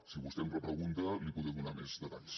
si vostè em repregunta li podré donar més detalls